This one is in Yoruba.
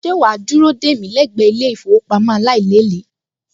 Ṣé wà á dúró dè mí lẹ́gbẹ̀ẹ́ ilé-ìfowópamọ́ aláìlékèé